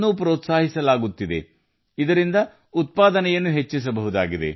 ಗಳನ್ನು ಪ್ರೋತ್ಸಾಹಿಸಲಾಗುತ್ತಿದೆ ಇದರಿಂದ ಉತ್ಪಾದನೆಯನ್ನು ಹೆಚ್ಚಿಸಬಹುದು